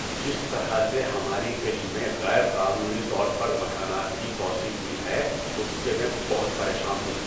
جس طرح سے ہماری گلی میں غیر قانونی طور پر مکانات کی توسیع ہوئی ہے اس سے میں بہت پریشان ہوں۔